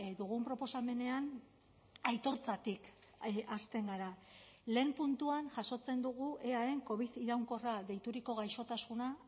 dugun proposamenean aitortzatik hasten gara lehen puntuan jasotzen dugu eaen covid iraunkorra deituriko gaixotasuna